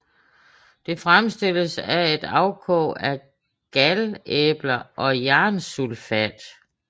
Det fremstilles af et afkog af galæbler og jernsulfat